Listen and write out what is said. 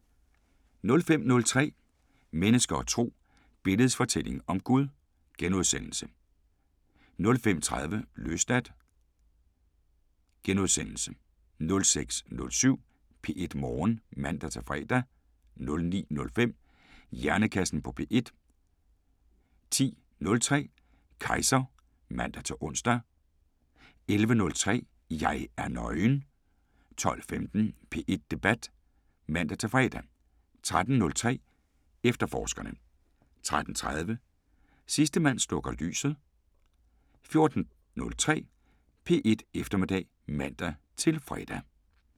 05:03: Mennesker og Tro: Billedets fortælling om Gud * 05:30: Løsladt * 06:07: P1 Morgen (man-fre) 09:05: Hjernekassen på P1 10:03: Kejser (man-ons) 11:03: Jeg er nøgen 12:15: P1 Debat (man-fre) 13:03: Efterforskerne 13:30: Sidste mand slukker lyset 14:03: P1 Eftermiddag (man-fre)